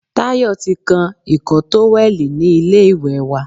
Tayo ti kán ìkọ́ tówẹ̀lì ni ilé ìwẹ̀ wa.